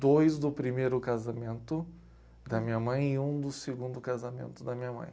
Dois do primeiro casamento da minha mãe e um do segundo casamento da minha mãe.